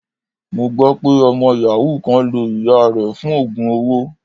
Mo gbọ́ pé ọmọ yàhú kan lo ìyáa rẹ̀ fún oogun owó.